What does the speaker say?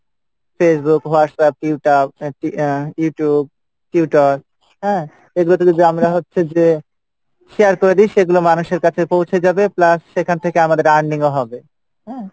Facebook Whatsapp ah YouTube Twitter, হ্যাঁ? এগুলো তে যদি আমরা হচ্ছে যে share করে দি সেগুলো মানুষের কাছে পৌঁছে যাবে plus সেখান থেকে আমাদের earning ও হবে হম?